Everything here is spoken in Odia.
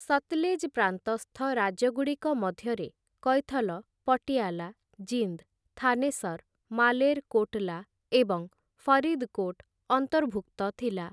ସତଲେଜ୍ ପ୍ରାନ୍ତସ୍ଥ ରାଜ୍ୟଗୁଡ଼ିକ ମଧ୍ୟରେ କୈଥଲ, ପଟିଆଲା, ଜିନ୍ଦ୍‌, ଥାନେସର୍‌, ମାଲେର୍‌ କୋଟ୍‌ଲା ଏବଂ ଫରିଦ୍‌କୋଟ୍‌ ଅନ୍ତର୍ଭୁକ୍ତ ଥିଲା ।